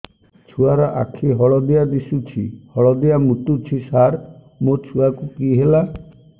ଛୁଆ ର ଆଖି ହଳଦିଆ ଦିଶୁଛି ହଳଦିଆ ମୁତୁଛି ସାର ମୋ ଛୁଆକୁ କି ହେଲା